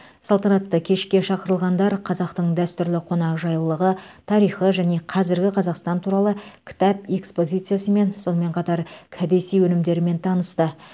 салтанатты кешке шақырылғандар қазақтың дәстүрлі қонақжайлылығы тарихы және қазіргі қазақстан туралы кітап экспозициясымен сонымен қатар кәдесый өнімдерімен танысты